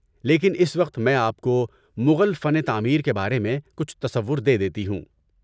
لیکن اس وقت میں آپ کو مغل فن تعمیر کے بارے میں کچھ تصور دے دیتی ہوں۔